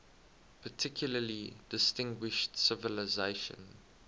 particularly distinguished civilization